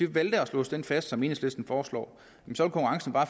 vi valgte at låse den fast som enhedslisten foreslår